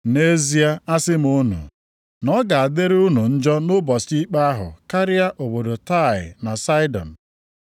Nʼezie asị m unu na ọ ga-adịrị unu njọ nʼụbọchị ikpe ahụ karịa obodo Taịa na Saịdọn.